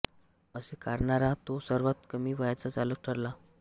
असे करणारा तो सर्वात कमी वयाचा चालक ठरला